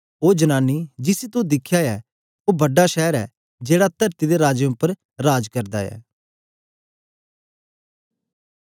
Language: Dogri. ओ जनानी जिसी तो दिखया ऐ ओ बड़ा शैर ऐ जेड़ा तरती दे राजें उपर राज करदा ऐ